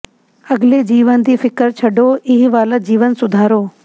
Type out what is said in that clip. ਅਗਲੇ ਜੀਵਨ ਦੀ ਫਿ਼ਕਰ ਛੱਡੋ ਇਹ ਵਾਲਾ ਜੀਵਨ ਸੁਧਾਰੋ